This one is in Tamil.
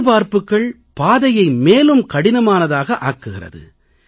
எதிர்பார்ப்புகள் பாதையை மேலும் கடினமானதாக ஆக்குகிறது